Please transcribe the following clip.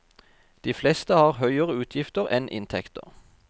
De fleste har høyere utgifter enn inntekter.